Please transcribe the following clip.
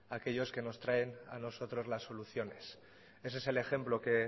aquellos que nos traen a nosotros las soluciones ese es el ejemplo que